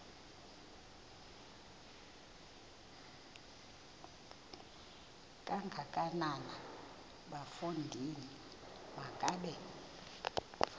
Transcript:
kangakanana bafondini makabe